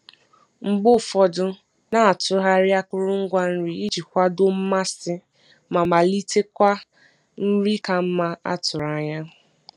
Mgbe ụfọdụ, na-atụgharị akụrụngwa nri iji kwado mmasị ma kpalitekwa nri ka mma a tụrụ anya.